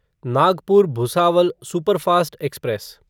Nagpur Bhusawal superfast express